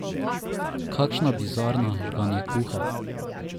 Kakšna bizarna žganjekuha?